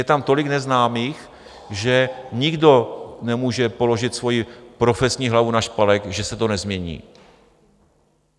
Je tam tolik neznámých, že nikdo nemůže položit svoji profesní hlavu na špalek, že se to nezmění.